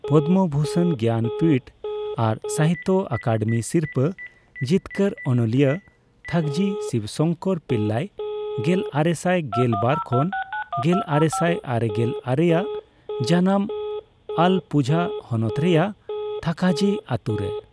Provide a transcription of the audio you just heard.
ᱯᱚᱫᱢᱚᱵᱷᱩᱥᱚᱱ, ᱜᱮᱭᱟᱱᱯᱤᱴᱷ ᱟᱨ ᱥᱟᱦᱤᱛᱛᱚ ᱟᱠᱟᱫᱮᱢᱤ ᱥᱤᱨᱯᱟᱹ ᱡᱤᱛᱠᱟᱹᱨ ᱚᱱᱚᱞᱤᱭᱟᱹ ᱛᱷᱟᱠᱡᱷᱤ ᱥᱤᱵᱥᱚᱝᱠᱚᱨ ᱯᱤᱞᱞᱟᱭ ᱜᱮᱞᱟᱨᱮᱥᱟᱭ ᱜᱮᱞ ᱵᱟᱨ ᱠᱷᱚᱱ ᱜᱮᱞᱟᱨᱮᱥᱟᱭ ᱟᱨᱮᱜᱮᱞ ᱟᱨᱮ ᱟᱜ ᱡᱟᱱᱟᱢ ᱟᱞᱟᱯᱯᱩᱡᱷᱟ ᱦᱚᱱᱚᱛ ᱨᱮᱭᱟᱜ ᱛᱷᱟᱠᱟᱡᱷᱤ ᱟᱛᱳᱨᱮ ᱾